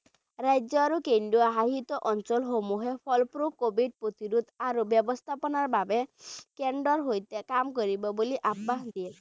ৰাজ্য আৰু কেন্দ্ৰীয় শাসিত অঞ্চলসমূহে ফলস্বৰূপ covid প্ৰতিৰোধ আৰু ব্যৱস্থাপনাৰ বাবে কেন্দ্ৰৰ সৈতে কাম কৰিব বুলি আশ্বাস দিয়ে।